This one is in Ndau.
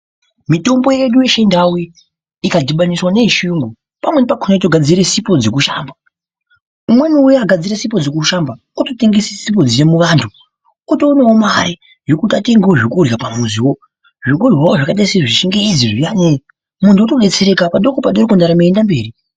Mitombo yedu yechindau iyi ikadhibaniswa neyechiungu pamweni pakona yotogadzire sipo dzekushamba. Umweni akagadzire sipo dzekushamba ototengesa sipo dziya muvantu, otoonawo mare yekuti atengewo zvekurya pamuzi wake. Zvekurya zviya zvakaita sezvechingezi muntu otodetsereka padoko padoko ndaramo yeiende mberi.